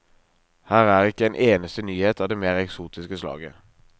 Her er ikke en eneste nyhet av det mer eksotiske slaget.